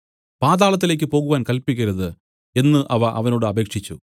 പാതാളത്തിലേക്ക് പോകുവാൻ കല്പിക്കരുത് എന്നു അവ അവനോട് അപേക്ഷിച്ചു